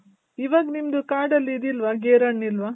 ಇವಾಗ್ ನಿಮ್ದು ಕಾಡಲ್ಲಿ ಇದಿಲ್ವ ಗೇರ್ ಹಣ್ಣ ಇಲ್ವಾ ?